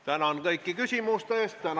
Tänan kõiki küsimuste eest!